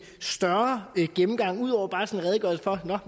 større gennemgang ud over bare